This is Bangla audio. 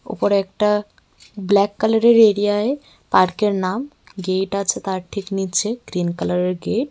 উপরে একটা ব্ল্যাক কালারের এরিয়ায় পার্কের নাম গেট আছে তার ঠিক নীচে গ্রীন কালারের গেট .